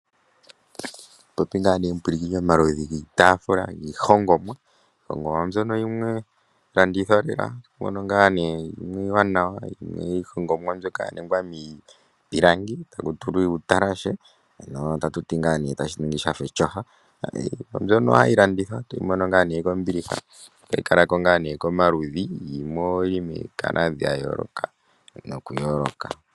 Otatu popi ngaa nee omupulakeni omaludhi giitaafula, giihongomwa. Iihongomwa mbyono yimwe ohayi landithwa lela. Opu na yimwe iiwanawa. Iihongomwa yimwe oya ningwa miipilangi taku tulwa uutalashe, tayi ningi etyofa. Iinima mbyoka ohayi landithwa, toyi mono kombiliha, yi li momalwaala ga yoolokathana.